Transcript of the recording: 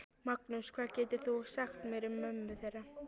Magnús: Hvað getur þú sagt mér um mömmu þeirra?